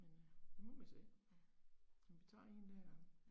Men øh, nu må vi se. Men vi tager 1 dag ad gangen